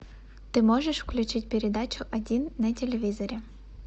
ты можешь включить передачу один на телевизоре